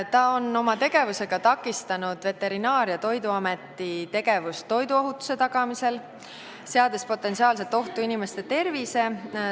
Ta on oma tegevusega takistanud Veterinaar- ja Toiduameti tegevust toiduohutuse tagamisel, seades potentsiaalselt ohtu inimeste tervise.